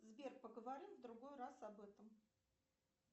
сбер поговорим в другой раз об этом